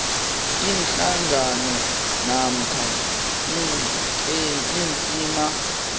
iinhlangano namkha iinqhema